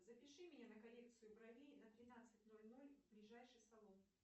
запиши меня на коррекцию бровей на тринадцать ноль ноль в ближайший салон